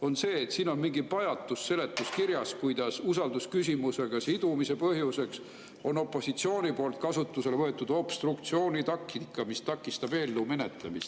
Siin seletuskirjas on mingi pajatus sellest, kuidas usaldusküsimusega sidumise põhjuseks on opositsiooni poolt kasutusele võetud obstruktsioonitaktika, mis takistab eelnõu menetlemist.